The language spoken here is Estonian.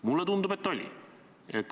Mulle tundub, et oli.